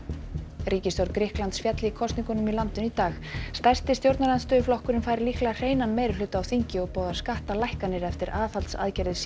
ríkisstjórn Grikklands féll í kosningum í landinu í dag stærsti stjórnarandstöðuflokkurinn fær líklega hreinan meirihluta á þingi og boðar skattalækkanir eftir aðhaldsaðgerðir